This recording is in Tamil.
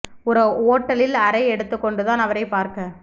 ஒரு ஓட்டலில் அறை எடுத்துக்கொண்டுதான் அவரைப் பார்க்க